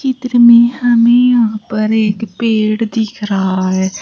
चित्र में हमें यहां पर एक पेड़ दिख रहा है।